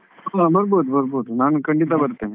ಹಾ ಬರ್ಬೋದು ಬರ್ಬೋದು ನಾನ್ ಖಂಡಿತ ಬರ್ತೇನೆ.